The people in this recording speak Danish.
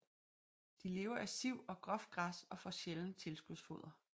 De lever af siv og groft græs og får sjældent tilskudsfoder